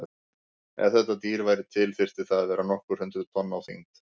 Ef þetta dýr væri til þyrfti það að vera nokkur hundruð tonn á þyngd.